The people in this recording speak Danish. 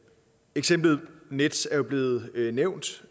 eksemplet nets er blevet nævnt